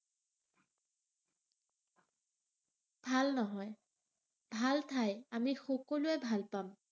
ভাল নহয়। ভাল ঠাই, আমি সকলোৱে ভাল পাম।